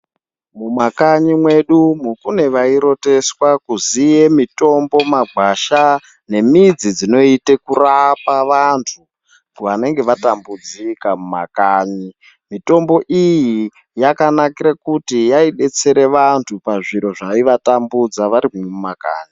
Mumakanyi mwedu umu kune vairoteswa kuziye mitombo magwasha nemidzi dzinoita kurapa vantu vanonge vatambudzika mumakanyi. Mutombo iyi yakanakira kuti yaidetsere vantu pazviro zvaivatambudza varimwo mumakanyi.